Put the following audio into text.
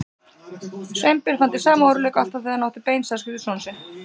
Sveinbjörn fann til sama óróleika og alltaf þegar hann átti bein samskipti við son sinn.